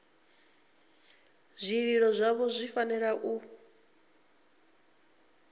zwililo zwavho zwi fanela u